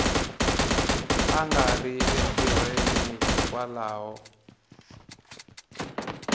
a nga riki entirhweni hikwalaho